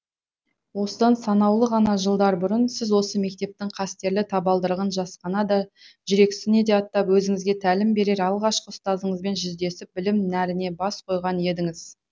осыдан санаулы ғана жылдар бұрын сіз осы мектептің қастерлі табалдырығын жасқана да жүрексіне аттап өзіңізге тәлім берер алғашқы ұстазыңызбен жүздесіп білім нәріне бас қойған едіңіз